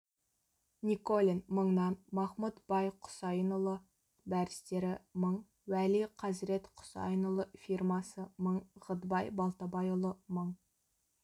николин мыңнан мақмұт бай құсайынұлы дарыстері мың уәли қазірет құсайынұлы фирмасы мың ғыдбай балтабайұлы мың